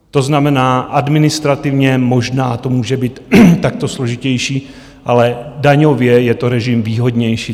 To znamená, administrativně možná to může být takto složitější, ale daňově je to režim výhodnější.